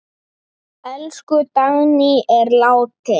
Elsku Dagný er látin.